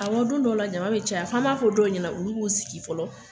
Awɔ don dɔwla jama be caya f'an b'a fɔ dɔw ɲɛnɛ olu k'u sigi fɔlɔ